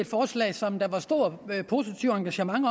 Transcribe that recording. forslag som der var et stort og positivt engagement